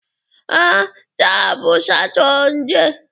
Ee, taa bụ Satọde.